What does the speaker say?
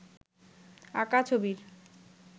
আঁকা ছবির